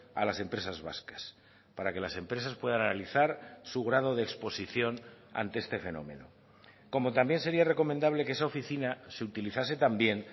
a las empresas vascas para que las empresas puedan analizar su grado de exposición ante este fenómeno como también sería recomendable que esa oficina se utilizase también